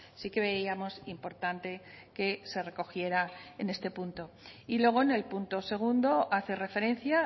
sí que veíamos importante que se recogiera en este punto y luego en el punto segundo hace referencia